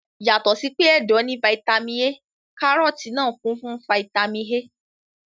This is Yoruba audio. Yàtọ̀ sí pé ẹ̀dọ̀ ní fataímìn A, kárọ́tì náà kún fún fataímìn A.